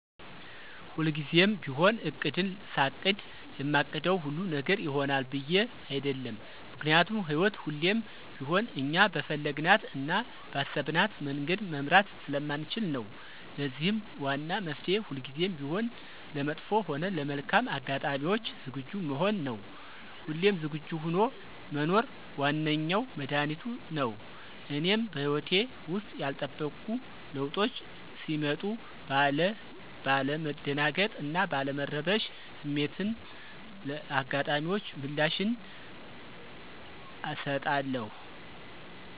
ሁልጊዜም ቢሆን እቅድን ሳቅድ የማቅደው ሁሉ ነገር ይሆናል ብዬ አይደለም። ምክንያቱም ህይወት ሁሌም ቢሆን እኛ በፈለግናት እና ባሰብናት መንገድ መምራት ስለማንችል ነው። ለዚህም ዋና መፍትሔ ሁልጊዜም ቢሆን ለመጥፎ ሆነ ለመልካም አጋጣሚዎች ዝግጁ መሆን ነው። ሁሌም ዝግጁ ሆኖ መኖር ዋነኛው መድኃኒቱቱ ነው። እኔም በህይወቴ ውስጥ ያልተጠበቁ ለዉጦች ሲመጡ ባለ መደናገጥ እና ባለ መረበሽ ስሜትን ለአጋጣሚዎች ምላሽን አሰጣለሁ።